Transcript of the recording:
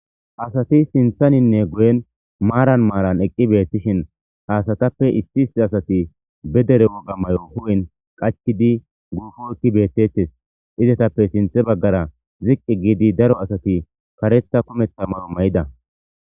asati sinthaninne guyen maaran maaran eqqi beettishin haasatappe isti issi asati be dere woga mayo hu7in qacidi guufo ekqi beettettes izetappe sinthe baggara ziqqi giidi daro asati kareta komeththa mayo may7ida